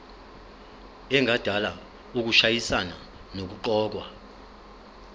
engadala ukushayisana nokuqokwa